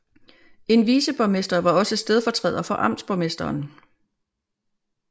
En viceborgmester var også stedfortræder for amtsborgmesteren